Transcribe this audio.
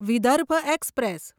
Vidarbha express